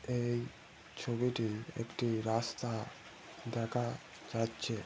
এই ছবিটি একটি রাস্তা দেখা যাচ্ছে।